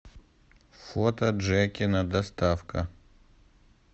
фото джекина доставка